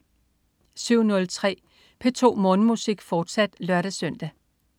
07.03 P2 Morgenmusik, fortsat (lør-søn)